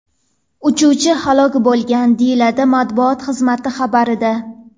Uchuvchi halok bo‘lgan”, deyiladi matbuot xizmati xabarida.